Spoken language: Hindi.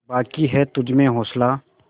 बाक़ी है तुझमें हौसला